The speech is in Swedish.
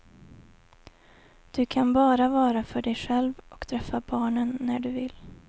Du kan bara vara för dig själv, och träffa barnen när du vill.